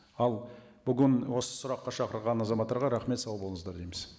ал бүгін осы сұраққа шақырған азаматтарға рахмет сау болыңыздар дейміз